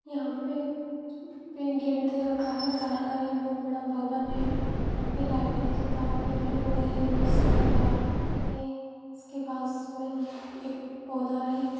यहां पर गेट दे रखा है तार का यह बहुत बड़ा भवन है यहां पर लाइट है के तार फैले हुए हैं बहुत सारे तार है उसके पास में एक पौधा है ।